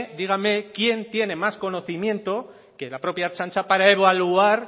dígame quién tiene más conocimiento que la propia ertzaintza para evaluar